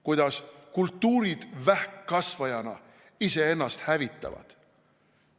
Kuidas kultuurid vähkkasvajana iseennast hävitavad.